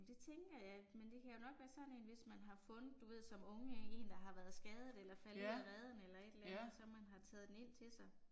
Det tænker jeg ikke, men det kan jo nok være sådan en hvis man har fundet du ved som unge en der har været skadet eller er faldet ud af reden eller et eller andet og så man har taget den ind til sig